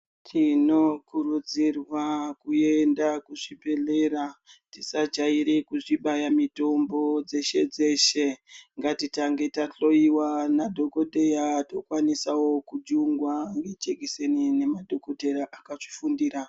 Tinokurudzirwa kuenda kuzvibhedhlera, tisajaire kuzvibaya mitombo dzeshe-dzeshe. Ngatitange tahloyiwa nadhokoteya tokwanisawo kujungwa nejekiseni nemadhokotera akazvifundira.